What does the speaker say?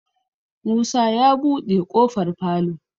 Musa ya buɗe kofar falo.